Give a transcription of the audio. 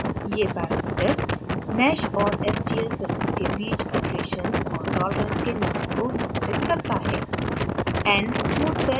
ये parameters mesh और stl surface के बीच iterations और tolerance के number को नियंत्रित करता है